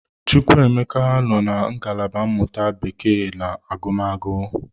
Chukwuemeka nọ na ngalaba mmụta Bekee na agụmagụ.